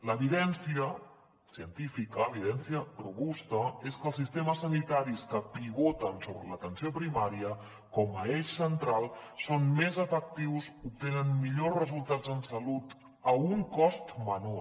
l’evidència científica evidència robusta és que els sistemes sanitaris que pivoten sobre l’atenció primària com a eix central són més efectius obtenen millors resultats en salut a un cost menor